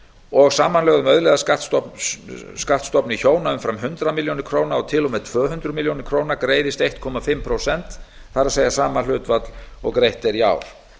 og samanlögðum auðlegðarskattsstofni hjóna umfram hundrað milljónir króna til og með tvö hundruð milljón krónur greiðist eins og hálft prósent það er sama hlutfall og greitt er í ár